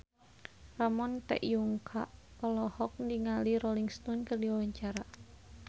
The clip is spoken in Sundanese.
Ramon T. Yungka olohok ningali Rolling Stone keur diwawancara